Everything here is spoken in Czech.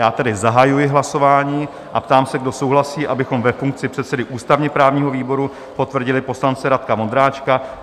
Já tedy zahajuji hlasování a ptám se, kdo souhlasí, abychom ve funkci předsedy ústavně-právního výboru potvrdili poslance Radka Vondráčka?